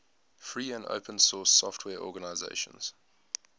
free and open source software organizations